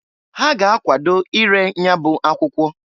Ha ga akwado ire nyabụ akwụkwọ.